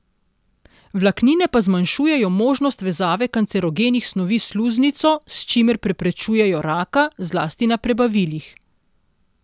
Vlaknine pa zmanjšujejo možnost vezave kancerogenih snovi s sluznico, s čimer preprečujejo raka, zlasti na prebavilih.